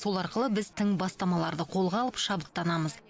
сол арқылы біз тың бастамаларды қолға алып шабыттанамыз